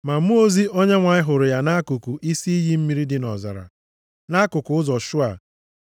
Ma mmụọ ozi Onyenwe anyị hụrụ ya nʼakụkụ isi iyi mmiri dị nʼọzara, nʼakụkụ ụzọ Shua,